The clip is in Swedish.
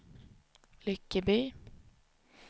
Lyckeby